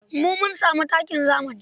Mun mun sami takin zami.